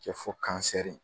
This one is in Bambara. Kɛ fo kansɛri